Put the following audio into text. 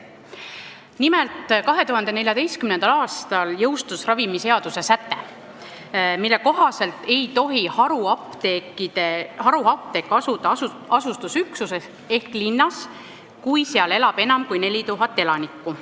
Nimelt, 2014. aastal jõustus ravimiseaduse säte, mille kohaselt ei tohi haruapteek asuda asustusüksuses ehk linnas, kus elab enam kui 4000 elanikku.